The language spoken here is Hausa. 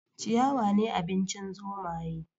Ciyawa ne abincin zomaye